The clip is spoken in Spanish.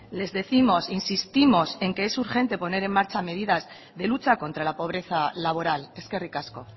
les décimos insistimos en que es urgente poner en marcha medidas de lucha contra la pobreza laboral eskerrik asko